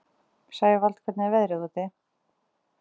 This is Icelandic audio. Sævald, hvernig er veðrið úti?